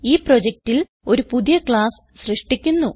ഈ പ്രൊജക്റ്റിൽ ഒരു പുതിയ ക്ലാസ് സൃഷ്ടിക്കുന്നു